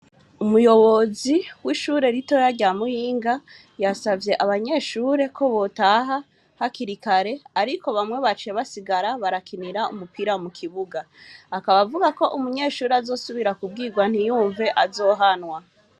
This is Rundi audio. Umuyobozi w'ishure rito ya rya muyinga yasavye abanyeshure ko botaha hakirikare, ariko bamwe bace basigara barakinira umupira mu kibuga akabavuga ko umunyeshuri azosubira kubwirwa ntiyumve azohanwa.